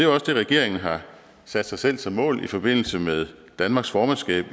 også det regeringen har sat sig selv som mål i forbindelse med danmarks formandskab